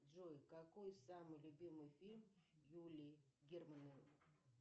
джой какой самый любимый фильм юлии германовой